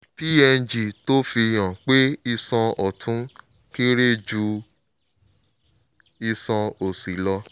png tó fi hàn pé iṣan ọ̀tún kéré ju iṣan òsì lọ